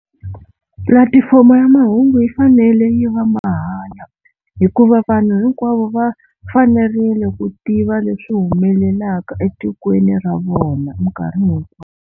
Pulatifomo ya mahungu yi fanele yi va mahala hikuva vanhu hinkwavo va fanerile ku tiva leswi humelelaka etikweni ra vona minkarhi hinkwayo.